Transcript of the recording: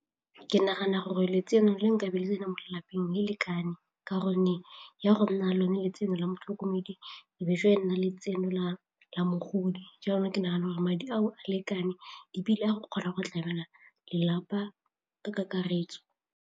Ke nagana gore letseno le nkabo le tsenang mo lelapeng le lekane ka gonne ya go nna lone letseno la motlhokomedi nna letseno la la mogodi jalo ke nagana gore madi ao a lekane ebile a go kgona go tlamela lelapa ka kakaretso.